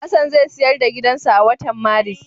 Hassan zai siyar da gidansa a watan Maris.